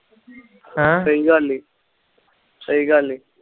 ਸਹੀ ਗੱਲ ਆ